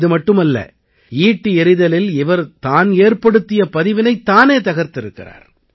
இதுமட்டுமல்ல ஈட்டி எறிதலில் இவர் தான் ஏற்படுத்திய பதிவினைத் தானே தகர்த்திருக்கிறார்